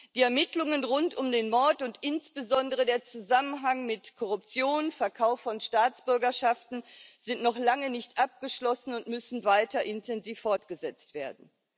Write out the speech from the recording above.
Die Ermittlungen rund um den Mord und insbesondere den Zusammenhang mit Korruption, Verkauf von Staatsbürgerschaften sind noch lange nicht abgeschlossen und müssen weiter intensiv fortgesetzt werden.